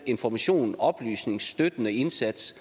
information oplysning støttende indsats